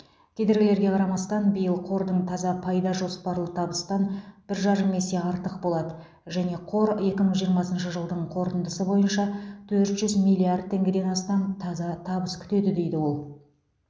кедергілерге қарамастан биыл қордың таза пайда жоспарлы табыстан бір жарым есе артық болады және қор екі мың жиырмасыншы жылдың қорытындысы бойынша төрт жүз миллиард теңгеден астам таза табыс күтеді дейді ол